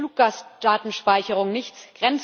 Da helfen Fluggastdatenspeicherungen nichts.